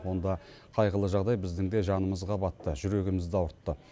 онда қайғылы жағдай біздің де жанымызға батты жүрегімізді ауыртты